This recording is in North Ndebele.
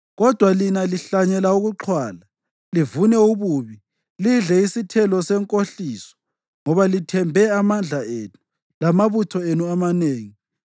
Kodwa lina lihlanyele ukuxhwala, livune ububi, lidle isithelo senkohliso. Njengoba lithembe amandla enu lamabutho enu amanengi,